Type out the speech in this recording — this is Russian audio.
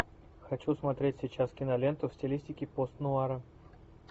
хочу смотреть сейчас киноленту в стилистике пост нуара